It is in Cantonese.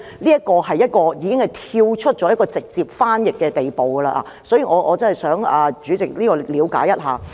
此舉已達到跳出直接翻譯的地步。所以，我想請主席了解一下。